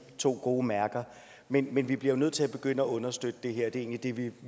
to gode mærker men men vi bliver nødt til at begynde at understøtte det her og det er det vi